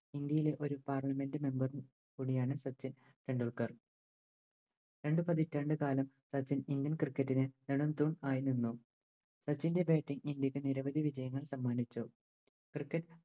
ഇന്ത്യയിലെ ഒരു Parliament member കൂടിയാണ് സച്ചിൻ ടെൻഡുൽക്കർ രണ്ട് പതിറ്റാണ്ട് കാലം സച്ചിൻ Indian cricket ന് നെടും തൂൺ ആയി നിന്നു സച്ചിൻറെ Batting ഇന്ത്യക്ക് നിരവധി വിജയങ്ങൾ സമ്മാനിച്ചു Cricket